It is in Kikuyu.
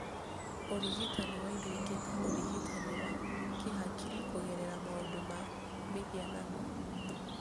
Ũrigitani wa indo ingĩ ta ũrigitani wa kĩhakiri kũgerera maũndũ ma mĩhianano